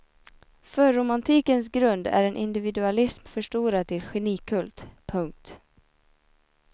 Förromantikens grund är en individualism förstorad till genikult. punkt